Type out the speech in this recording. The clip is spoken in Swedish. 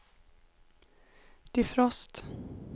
defrost